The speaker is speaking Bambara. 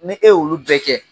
Ni e olu bɛ kɛ.